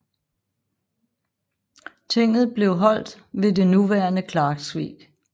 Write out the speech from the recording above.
Tinget blev holdt ved det nuværende Klaksvík